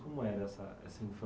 Como era essa essa